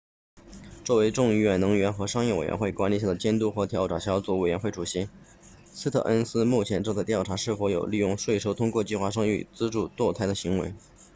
作为众议院能源和商业委员会 house energy and commerce committee 管理下的监督和调查小组委员会主席斯特恩斯 stearns 目前正在调查是否有利用税收通过计划生育资助堕胎的行为